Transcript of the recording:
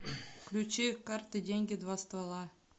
включи карты деньги два ствола